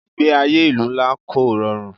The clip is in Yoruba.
Ìgbé ayé ìlú ńlá kò rọrùn.